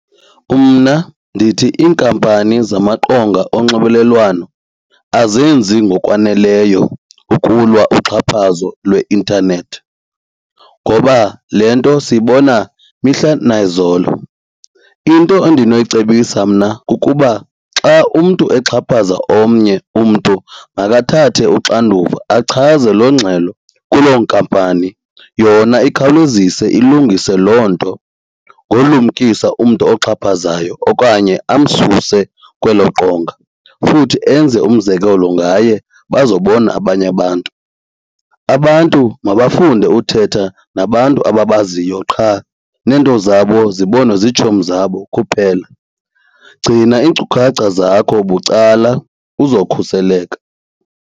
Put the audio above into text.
Mna ndithi iinkampani zamaqonga onxibelelwano azenzi ngokwaneleyo ukulwa uxhaphazo lweintanethi ngoba le nto siyibona mihla nayizolo. Into endinoyicebisa mna kukuba xa umntu exhaphaza omnye umntu makathathe uxanduva achaze loo ngxelo kuloo nkampani yona ikhawulezise ilungise loo nto ngolumkisa umntu oxhaphazayo okanye amsuse kwelo qonga futhi enze umzekelo ngaye bazobona abanye abantu. Abantu mabafunde uthetha nabantu ababaziyo qha nento zabo zibonwe zitshomi zabo kuphela. Gcina iinkcukacha zakho bucala uzokhuseleka.